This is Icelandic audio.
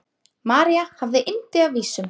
María hafði yndi af vísum.